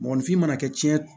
Mɔgɔninfin mana kɛ cɛn